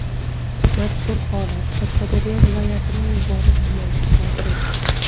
Mazkur holat Qashqadaryo viloyatining Muborak tumanida sodir etilgan.